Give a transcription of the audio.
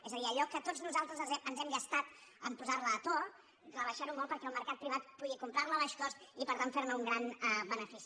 és a dir allò que tots nosaltres ens hem gastat en posar la a to rebaixar ho molt perquè el mercat privat pugui comprar la a baix cost i per tant fer ne un gran benefici